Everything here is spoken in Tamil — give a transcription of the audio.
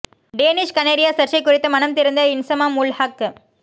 டேனிஷ் கனேரியா சர்ச்சை குறித்து மனம் திறந்த இன்சமாம் உல் ஹக்